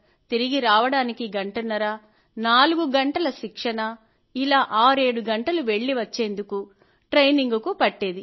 తిరిగి రావడానికి గంటన్నర నాలుగు గంటల శిక్షణ ఇలా ఆరేడు గంటలు వెళ్ళి వచ్చేందుకు ట్రెయినింగుకు పట్టేది